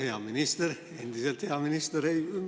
Hea minister, endiselt hea minister!